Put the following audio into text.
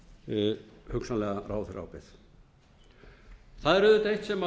meta hugsanlega ráðherraábyrgð það er auðvitað eitt sem